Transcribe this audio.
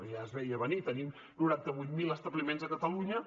ja es veia a venir tenim noranta vuit mil establiments a catalunya